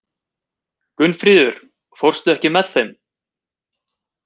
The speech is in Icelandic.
Gunnfríður, ekki fórstu með þeim?